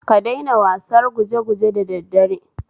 Ka daina wasar gujeguje da da daddare